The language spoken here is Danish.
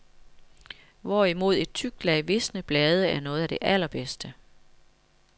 Hvorimod et tykt lag visne blade er noget af det allerbedste.